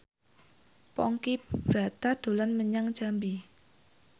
Ponky Brata dolan menyang Jambi